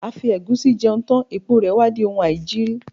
A fi ẹ̀gúsí jẹun tán, èpo rè wá di oun aìjiri.